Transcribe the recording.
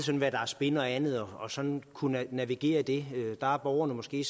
hvad der er spin og andet og sådan at kunne navigere i det der er borgerne måske